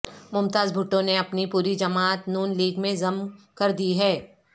ممتاز بھٹو نے اپنی پوری جماعت ن لیگ میں ضم کر دی ہے